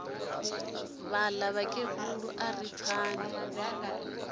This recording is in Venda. vhaḽa mukegulu a ri pfani